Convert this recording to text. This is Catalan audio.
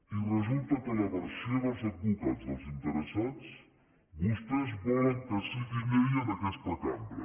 i resulta que la versió dels advocats dels interessats vostès volen que sigui llei en aquesta cambra